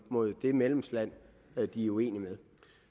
mod det medlemsland de er uenige med